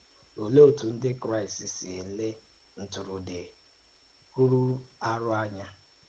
Olèé ọ̀tù ǹdí Kraịst sì èlé ntụrụndụ rùrù àrụ́ ànyà?